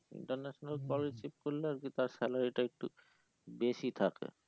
international call এ shift করলে আর কি তার salary টা একটু বেশি থাকে